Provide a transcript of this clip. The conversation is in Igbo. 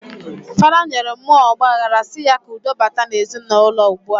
Fada nyere muo ogbahara si ya ka udo bata na ezi na uloua ugbua.